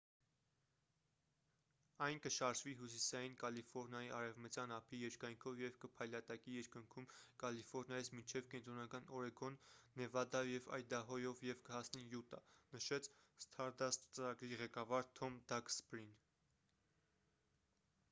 «այն կշարժվի հյուսիսային կալիֆորնիայի արևմտյան ափի երկայնքով և կփայլատակի երկնքում կալիֆորնիայից մինչև կենտրոնական օրեգոն նեվադայով և այդահոյով և կհասնի յուտա»,- նշեց սթարդասթ ծրագրի ղեկավար թոմ դաքսբրին: